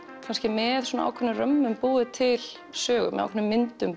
með ákveðnum römmum búið til sögu með ákveðnum myndum